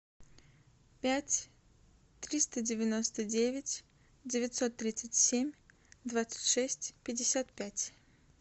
пять триста девяносто девять девятьсот тридцать семь двадцать шесть пятьдесят пять